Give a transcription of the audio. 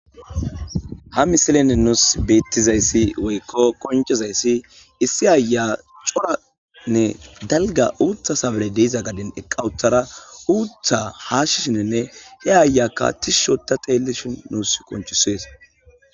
ha misilenne nuus beettizayssi woykko koncizayssi issi aya coranne dalga uutha sabale deiza gadin eqqawuthara uutha haashishinenne he ayakka tishushota xeellishin nuus konchisees